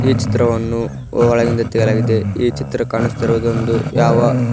ಈ ಚಿತ್ರವನ್ನು ಒಳಗಿಂದ ತೆಗೆಲಾಯಗಿದೆ ಈ ಚಿತ್ರ ಕಾಣಿಸ್ತಿರುವುದೊಂದು ಯಾವ--